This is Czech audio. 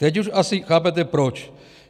Teď už asi chápete proč.